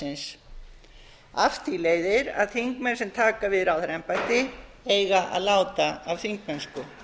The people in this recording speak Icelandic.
ráðherraembættisins af því leiðir að þingmenn sem taka við ráðherraembætti eiga að láta af þingmennsku